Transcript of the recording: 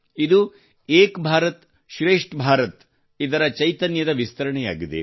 ಇದು ಏಕ್ ಭಾರತ್ಶ್ರೇಷ್ಠ ಭಾರತ ದ ಚೈತನ್ಯದ ವಿಸ್ತರಣೆಯಾಗಿದೆ